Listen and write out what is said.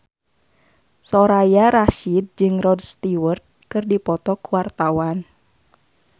Soraya Rasyid jeung Rod Stewart keur dipoto ku wartawan